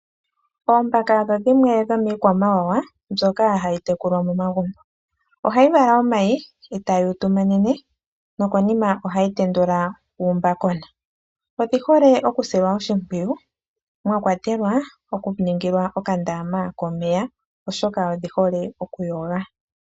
Oombaka odho dhimwe dhomikwamawawa mbyoka hayi tekulwa momagumbo. Ohayi vala omayi etayi tuminine nokonima ohayi tendula uumbakona. Odhihole okusilwa oshimpwiyu mwakwatelwa okuningilwa okandama komeya oshoka odhihole okuyoga.